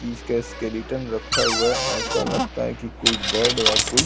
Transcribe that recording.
रखा हुआ है ऐसा लगता है कि कोई बर्ड या कोई --